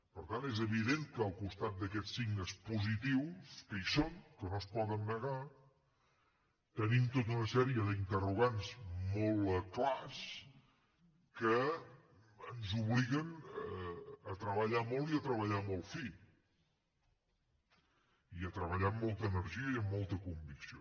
per tant és evident que al costat d’aquests signes positius que hi són que no es poden negar tenim tota una sèrie d’interrogants molt clars que ens obliguen a treballar molt i a treballar molt fi i a treballar amb molta energia i amb molta convicció